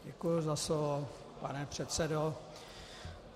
Děkuji za slovo, pane předsedo.